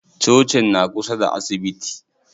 Cocin na kusa da asibiti.